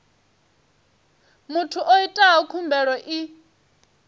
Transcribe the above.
muthu o itaho khumbelo i